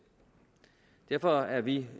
derfor er vi